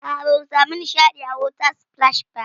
A'a, bamu samu nishaɗi a water splash ba.